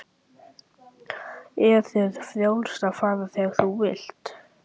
Er þér frjálst að fara þegar þú vilt?